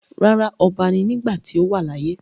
Rárá, ọba ni nígbàtí ó wà láyé.